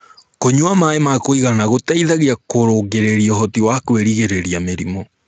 kũnyua maĩ ma kuigana gũteithagia kurungirirĩa uhoti wa kwirigirirĩa mĩrimũ